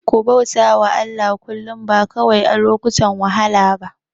Ku bauta wa Allah kullum, ba kawai a lokutan wahala ba.